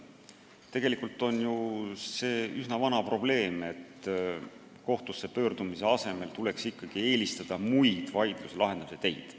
Tegelikult on see ju üsna vana seisukoht, et kohtusse pöördumise asemel tuleks eelistada muid vaidluse lahendamise teid.